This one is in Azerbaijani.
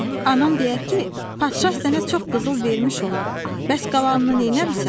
Anam deyər ki, padşah sənə çox qızıl vermiş olar, bəs qalanını nə eləmisən?